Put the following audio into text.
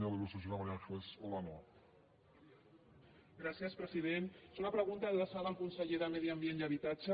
és una pregunta adreçada al conseller de medi ambient i habitatge